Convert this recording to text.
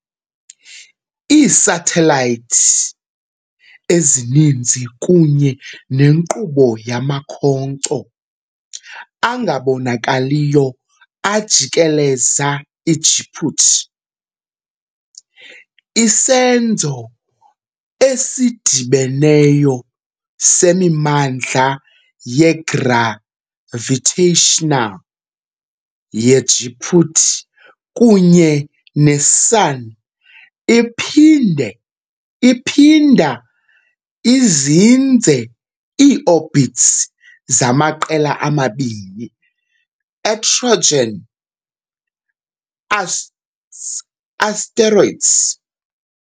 Iisathelayithi ezininzi kunye nenkqubo yamakhonkco angabonakaliyo ajikeleza iJupiter, isenzo esidibeneyo semimandla ye-gravitational ye-Jupiter kunye ne-Sun iphinde iphinda izinze ii-orbits zamaqela amabini e-Trojan asteroids.